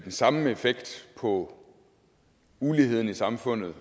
den samme effekt på uligheden i samfundet